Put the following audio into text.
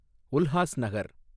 Ulhasnagar